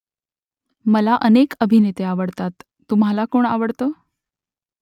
मला अनेक अभिनेते आवडतात तुम्हाला कोण आवडतं ?